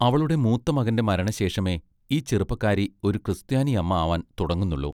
അവളുടെ മൂത്ത മകന്റെ മരണശേഷമേ ഈ ചെറുപ്പക്കാരി ഒരു ക്രിസ്ത്യാനി അമ്മ ആവാൻ തുടങ്ങുന്നുള്ളു.